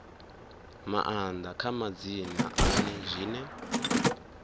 maanḓa kha madzina ane zwine